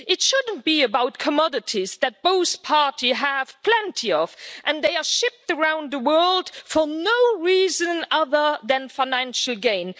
It shouldn't be about commodities that both parties have plenty of, and they are shipped around the world for no reason other than financial gain.